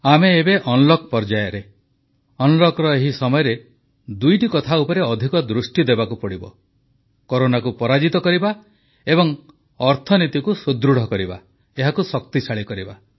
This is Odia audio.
ଆମେ ଏବେ ଅନଲକ ପର୍ଯ୍ୟାୟରେ ଏହି ସମୟରେ ଦୁଇଟି କଥା ଉପରେ ଅଧିକ ଦୃଷ୍ଟି ଦେବାକୁ ପଡିବ କରୋନାକୁ ପରାଜିତ କରିବା ଏବଂ ଅର୍ଥନୀତିକୁ ସୁଦୃଢ଼ କରିବା ଏହାକୁ ଶକ୍ତିଶାଳୀ କରିବା